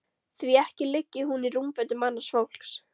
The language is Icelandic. Því ekki liggi hún í rúmfötum annars fólks.